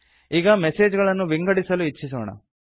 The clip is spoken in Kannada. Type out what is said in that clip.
ಈಗ ಮೆಸೇಜ್ ಗಳನ್ನು ವಿಂಗಡಿಸಲು ಇಚ್ಛಿಸೋಣ